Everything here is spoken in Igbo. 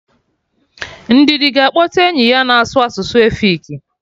Ndidi ga akpọta enyi ya na-asụ asụsụ efik